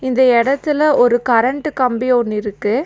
இந்த எடத்துல ஒரு கரண்ட் கம்பி ஒன்னு இருக்கு.